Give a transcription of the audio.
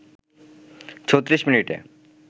৩৬ মিনিটে